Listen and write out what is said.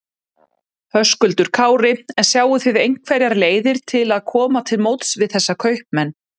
Höskuldur Kári: En sjáið þið einhverjar leiðir til að koma til móts við þessa kaupmenn?